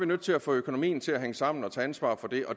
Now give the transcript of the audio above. nødt til at få økonomien til at hænge sammen og tage ansvar for det